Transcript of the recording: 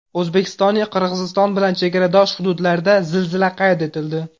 O‘zbekistonning Qirg‘iziston bilan chegaradosh hududlarida zilzila qayd etildi.